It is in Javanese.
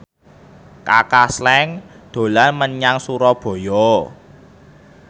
Kaka Slank dolan menyang Surabaya